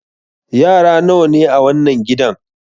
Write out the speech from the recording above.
Yara nawa ne a wannan gidan?